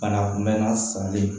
Bana kunbɛnna sali